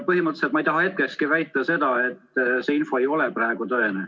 Põhimõtteliselt ma ei taha hetkekski väita seda, et see info ei ole praegu tõene.